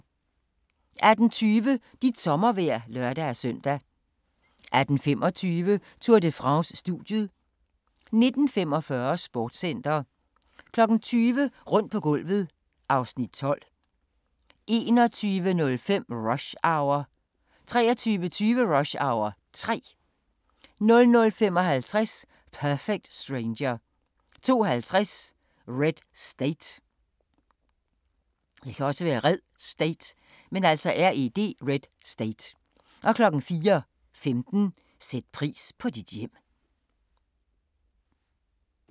18:20: Dit sommervejr (lør-søn) 18:25: Tour de France: Studiet 19:45: Sportscenter 20:00: Rundt på gulvet (Afs. 12) 21:05: Rush Hour 23:20: Rush Hour 3 00:55: Perfect Stranger 02:50: Red State 04:15: Sæt pris på dit hjem